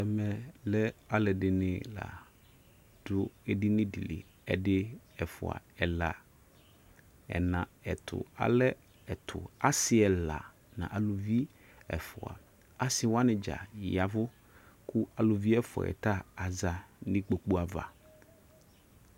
Ɛmɛ lɛ alɛde ne la do edini deƐdi, ɛfua ɛɔa ɛna, ɛtuAlɛ ase ɛla na aluviɛfuaAse wane dza yavu ko aluvi ɛfuɛ ta aza no ikpoku ava